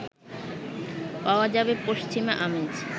পাওয়া যাবে পশ্চিমা আমেজ